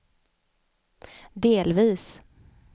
delvis